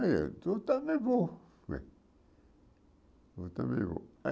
Aí eu, também vou. Eu também vou